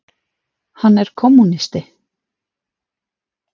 Hann er kommúnisti.